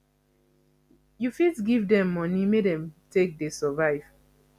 you fit give dem money make dem take sey survive